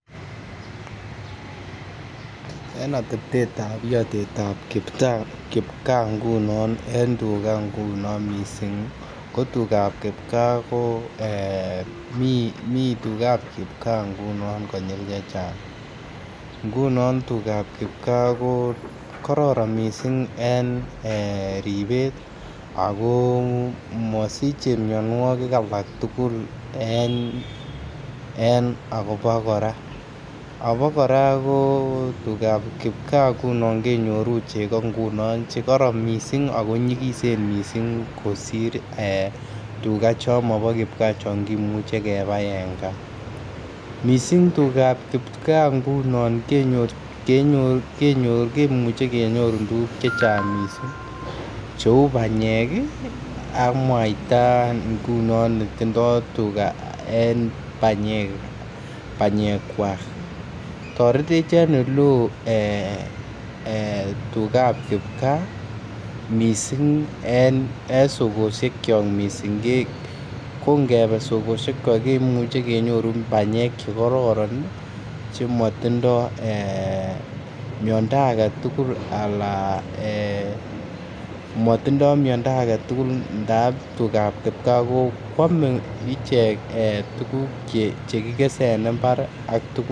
En ateptetab kipkaa ngunon en tuga ngunon missing ko tugab kipkaa ko mii tugab kipkaa ngunon konyil chechang ngunon tugab kipkaa ko kororon missing en ribet ako mosiche mionwokik alak tugul en abak koraa. Abak koraa tugab kipkaa ngunon kenyoru chego ngunon che koron missing aki nyigisen missing kosir tuga chon mobo kipkaa chon kimuche kebai en gaa, missing tuga kipkaa ngunon kenyoru kimuche kenyorun tuguk chechang missing che uu panyek ii ak mwaita ngunon netindo tuga en panyekwak toretech en ole oo tugab kipkaa missing en sokoshekyok missing ko ngebee sokoshekyok kemuche kenyorun banyek che kororon ii che motindo miondo agetugul ala eeh motindo miondo agetugul ntab tugab kipkaa kwome ichek tuguk che kigese en imbar ii